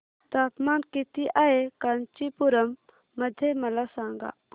तापमान किती आहे कांचीपुरम मध्ये मला सांगा